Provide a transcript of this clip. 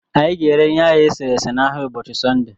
Anyị ga ere ịnye ahụ eserese na ahịa ụbọchị Sọnde